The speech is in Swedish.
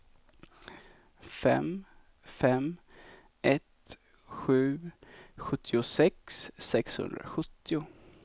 fem fem ett sju sjuttiosex sexhundrasjuttio